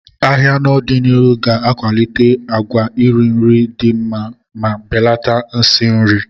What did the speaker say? Ahịa n'ọdịnihu ga-akwalite àgwà iri nri dị mma ma belata nsị nri.